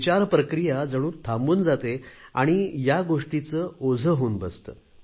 विचार प्रक्रिया जणू थांबून जाते आणि या गोष्टीचे ओझे होऊन बसते